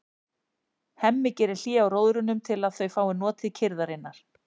Hemmi gerir hlé á róðrinum til að þau fái notið kyrrðarinnar.